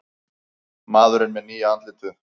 Maðurinn með nýja andlitið